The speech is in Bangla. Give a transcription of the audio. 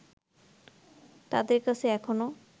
তাদের কাছে এখনো